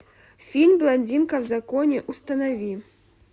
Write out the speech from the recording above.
фильм блондинка в законе установи